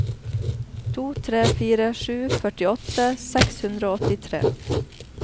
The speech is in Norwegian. to tre fire sju førtiåtte seks hundre og åttitre